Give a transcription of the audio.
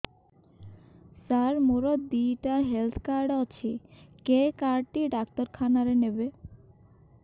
ସାର ମୋର ଦିଇଟା health card ଅଛି କେ କାର୍ଡ ଟି ଡାକ୍ତରଖାନା ରେ ନେବେ